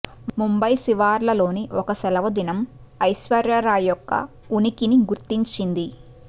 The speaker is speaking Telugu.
ముంబయి శివార్లలోని ఒక సెలవుదినం ఐశ్వర్య రాయ్ యొక్క ఉనికిని గుర్తించింది